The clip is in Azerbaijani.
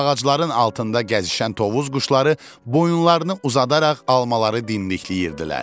Ağacların altında gəzişən tovuz quşları boyunlarını uzadaraq almaları dimdikləyirdilər.